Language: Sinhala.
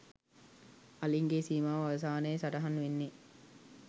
අලින්ගේ සීමාව අවසානය සටහන් වෙන්නේ